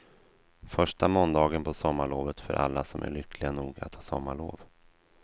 Första måndagen på sommarlovet för alla som är lyckliga nog att ha sommarlov.